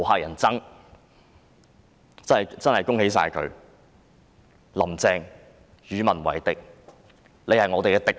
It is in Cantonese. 我真的要恭喜她，"林鄭"與民為敵，她已成了我們的敵人。